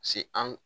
Se an